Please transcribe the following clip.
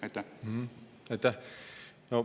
Aitäh!